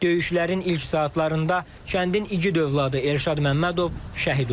Döyüşlərin ilk saatlarında kəndin igid övladı Elşad Məmmədov şəhid oldu.